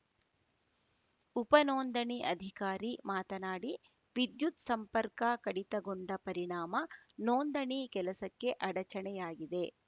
ಉಪ ನೋಂದಣಿ ಅಧಿಕಾರಿ ಮಾತನಾಡಿ ವಿದ್ಯುತ್‌ ಸಂಪರ್ಕ ಕಡಿತಗೊಂಡ ಪರಿಣಾಮ ನೋಂದಣಿ ಕೆಲಸಕ್ಕೆ ಅಡಚಣೆ ಆಗಿದೆ